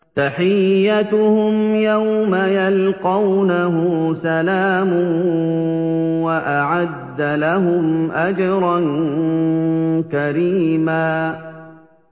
تَحِيَّتُهُمْ يَوْمَ يَلْقَوْنَهُ سَلَامٌ ۚ وَأَعَدَّ لَهُمْ أَجْرًا كَرِيمًا